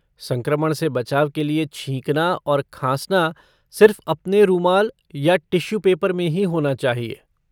संक्रमण से बचाव के लिये छींकना और खाँसना सिर्फ़ अपने रुमाल ये टिश्यू पेपर में ही होना चाहिए।